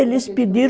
Eles pediram